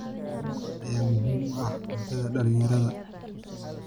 Kalluunka ayaa muhiim u ah cuntada dhalinyarada.